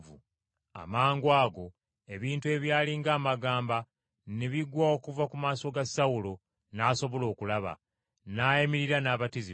Amangwago ebintu ebyali ng’amagamba ne bigwa okuva ku maaso ga Sawulo n’asobola okulaba, n’ayimirira n’abatizibwa.